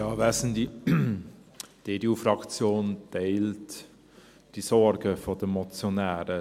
Die EDU-Fraktion teilt die Sorgen der Motionäre.